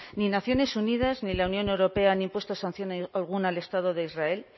ni naciones unidas ni la unión europea han impuesto sanción alguna al estado de israel